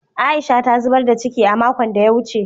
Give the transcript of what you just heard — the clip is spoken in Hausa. Aisha ta zubar da ciki a makon da ya wuce